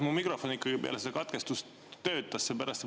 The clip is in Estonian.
Kas mu mikrofon ikkagi peale seda katkestust töötas?